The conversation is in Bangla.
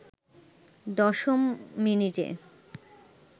দশম মিনিটে